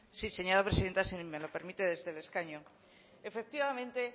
sí señora presidenta si me lo permite desde el escaño efectivamente